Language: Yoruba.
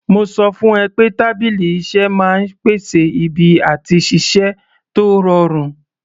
Mo sọ fún ẹ pé tábìlì iṣẹ́ máa ń pèsè ibi àti ṣiṣẹ́ tó rọrùn